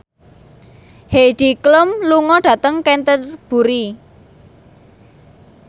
Heidi Klum lunga dhateng Canterbury